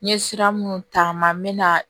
N ye sira minnu ta n ma n bɛ na